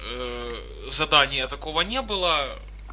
задания такого не было